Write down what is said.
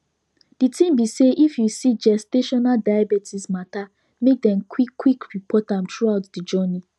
the tin be say if you see gestational diabetes matter make dem qik qik report am throughout the journey